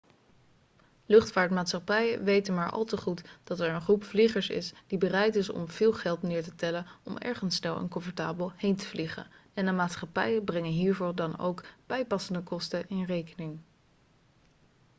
luchtvaartmaatschappijen weten maar al te goed dat er een groep vliegers is die bereid is om veel geld neer te tellen om ergens snel en comfortabel heen te vliegen en de maatschappijen brengen hiervoor dan ook bijpassende kosten in rekening